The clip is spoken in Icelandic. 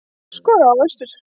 Skorar á Össur